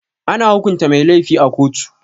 Ana hukunta mai lafi a koto.